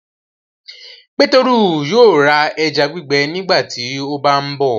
Peteru yóò rà ẹja gbígbẹ nígbàtí o bá nbó.